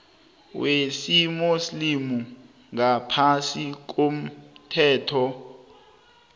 wesimuslimu ngaphasi komthetho